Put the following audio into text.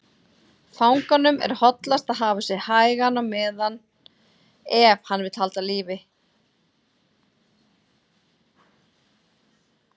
Fanganum er hollast að hafa sig hægan á meðan, ef hann vill lífi halda.